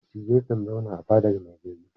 Dattijai kan zauna a fadar mai gari.